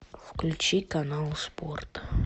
включи канал спорт